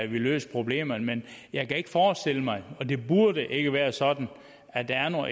vi løser problemerne men jeg kan ikke forestille mig og det burde ikke være sådan at der er nogen